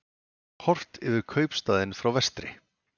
Horft yfir kaupstaðinn frá vestri.